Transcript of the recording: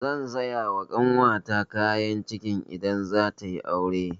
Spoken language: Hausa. Zan saya ma ƙanwata kayan kicin idan zata yi aure.